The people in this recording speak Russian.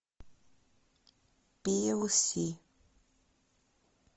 пи эл си